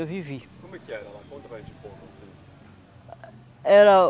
vivi. Como é que era lá? Conta para a gente como assim